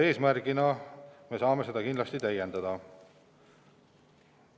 Me saame arengukava selle eesmärgiga kindlasti täiendada.